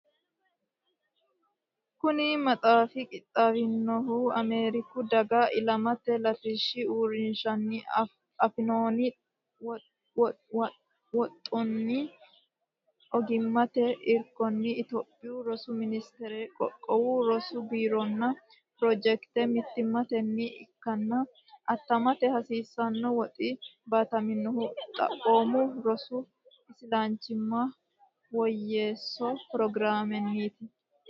Kuni maxaafi qixxaawinohu Ameeriku Daga Alamete Latishshi Uurrinshanni afi noonni woxunna ogimmate irkonni Itophiyu Rosu Ministerenni Qoqqowu Rosu Biironna pirojekte mittimmanni ikkanna attamate hasiisanno woxi baataminohu Xaphoomu Rosi Isilanchimma Woyyeesso Pirogiraamenniiti.